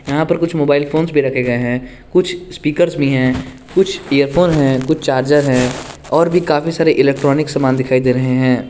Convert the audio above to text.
यहां पर कुछ मोबाइल फोन्स भी रखे गए हैं कुछ स्पीकर्स भी हैं कुछ इयरफोन हैं कुछ चार्जर हैं और भी काफी सारे इलैक्ट्रोनिक सामान दिखाई दे रहे हैं।